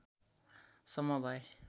सम्म भए